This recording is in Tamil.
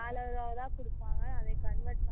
dollar ஆ தான் குடுப்பாங்க அத convert பண்ணி